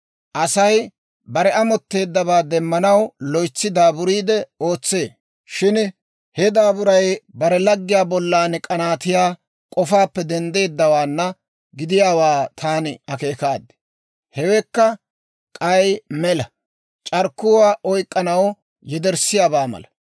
Asay bare amotteeddabaa demmanaw loytsi daaburiide ootsee; shin he daaburay bare laggiyaa bollan k'anaatiyaa k'ofaappe denddeeddawaana gidiyaawaa taani akeekaad. Hewekka k'ay mela; c'arkkuwaa oyk'k'anaw yederssiyaabaa mala.